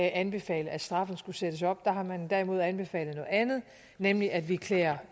anbefalet at straffen skulle sættes op der har man derimod anbefalet noget andet nemlig at vi klæder